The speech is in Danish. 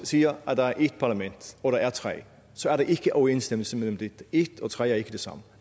siger at der er ét parlament hvor der er tre så er der ikke overensstemmelse mellem det ét og tre er ikke det samme